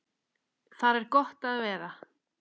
Þar er gott að vera.